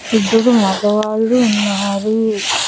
ఇదురూ మగవాళ్ళు ఉన్నారు.